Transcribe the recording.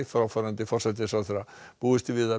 fráfarandi forsætisráðherra búist er við að